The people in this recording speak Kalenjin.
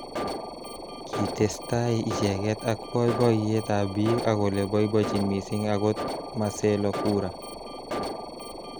Kitestai icheket ak boiboyet ab bik akole boibojin missing akot Marcelo cura.